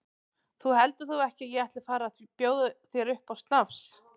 Þú heldur þó ekki að ég ætli að fara að bjóða þér upp á snafs?